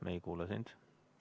Me ei kuule sind.